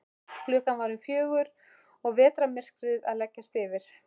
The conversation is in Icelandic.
Klukkan var um fjögur og vetrarmyrkrið að leggjast yfir.